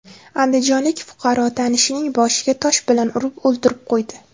Andijonlik fuqaro tanishining boshiga tosh bilan urib, o‘ldirib qo‘ydi.